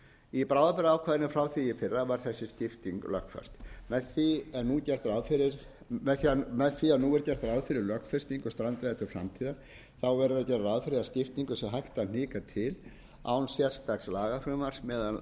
í bráðabirgðaákvæðinu frá því í fyrra var þessi skipting lögfest með því að nú er gert ráð fyrir lögfestingu á strandveiðum til framtíðar verður að gera ráð fyrir að skiptingu sé hægt að hnika til án sérstakt lagafrumvarps meðal